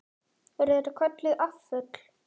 Eru þetta kölluð afföll.